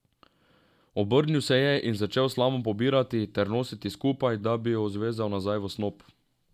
Obrnil se je in začel slamo pobirati ter nositi skupaj, da bi jo zvezal nazaj v snop.